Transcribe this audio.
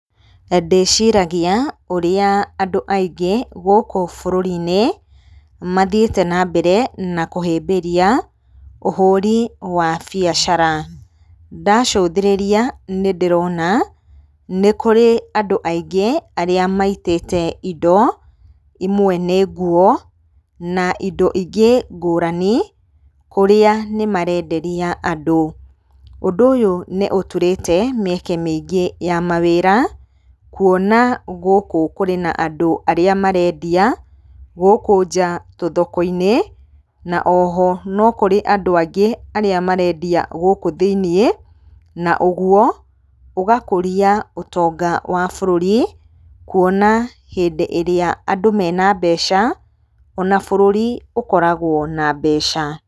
Ndĩciragia ũrĩa andũ aingĩ gũkũ bũrũri-inĩ mathiĩte na mbere na kũhĩmbĩria ũhũri wa biacara. Ndacũthĩrĩria nĩ ndĩrona nĩ kũrĩ andũ aingĩ arĩa maitĩte indo, imwe nĩ nguo na indo ingĩ ngũrani kũrĩa nĩ marenderia andũ. Ũndũ ũyũ nĩ ũturĩte mweke mĩingĩ ya mawĩra kuona gũkũ kũrĩ na andũ arĩa marendia gũkũ nja tũthoko-inĩ na oho, no kũrĩ andũ angĩ arĩa marendia gũkũ thĩinĩ. Na ũguo ũgakũria ũtonga wa bũrũri kũona hĩndĩ ĩrĩa andũ mena mbeca ona bũrũri ũkoragwo na mbeca.